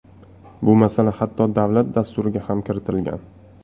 Bu masala hatto davlat Dasturiga ham kiritilgan.